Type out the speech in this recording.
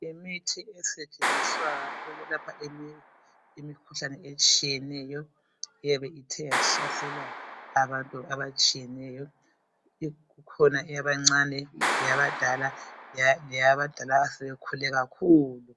Imithi esetshenziswa ukwelapha imikhuhlane etshiyeneyo eyabe ithe yahlasela abantu abatshiyeneyo kukhona eyabancane leyabadala leyabadala asebekhule kakhulu .